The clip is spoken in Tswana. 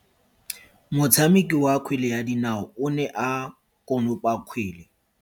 Motshameki wa kgwele ya dinao o ne a konopa kgwele.